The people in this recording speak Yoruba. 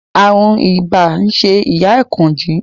Ààrùn ibà ń ṣe ìyá Àkànjí